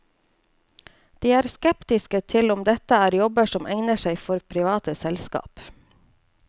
De er skeptiske til om dette er jobber som egner seg for private selskap.